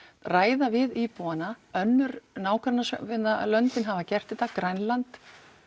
ræða við íbúana önnur nágrannalöndin hafa gert þetta Grænland